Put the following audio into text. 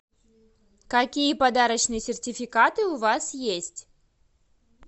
какие подарочные сертификаты у вас есть